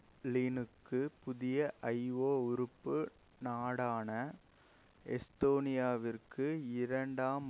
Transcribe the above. கிரெம்ளினுக்கும் புதிய ஐஒ உறுப்பு நாடான எஸ்தோனியாவிற்கு இரண்டாம்